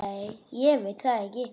Nei ég veit það ekki.